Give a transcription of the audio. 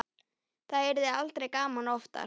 Það yrði aldrei gaman oftar.